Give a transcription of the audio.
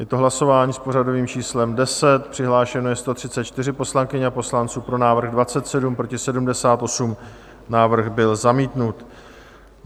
Je to hlasování s pořadovým číslem 10, přihlášeno je 134 poslankyň a poslanců, pro návrh 27, proti 78, návrh byl zamítnut.